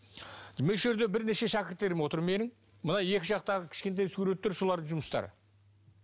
бірнеше шәкірттерім отыр менің мына екі жақтағы кішкентай суреттер солардың жұмыстары